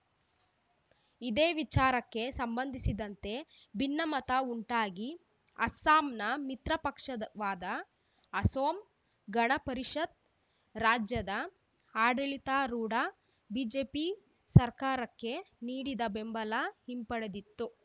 ಇದೇ ವಿಚಾರಕ್ಕೆ ಸಂಬಂಧಿಸಿದಂತೆ ಭಿನ್ನಮತ ಉಂಟಾಗಿ ಅಸ್ಸಾಂನ ಮಿತ್ರಪಕ್ಷದವಾದ ಅಸೋಂ ಗಣ ಪರಿಷತ್‌ ರಾಜ್ಯದ ಆಡಳಿತಾರೂಢ ಬಿಜೆಪಿ ಸರ್ಕಾರಕ್ಕೆ ನೀಡಿದ ಬೆಂಬಲ ಹಿಂಪಡೆದಿತ್ತು